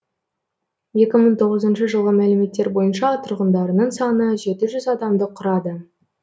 жылғы мәліметтер бойынша тұрғындарының саны адамды құрады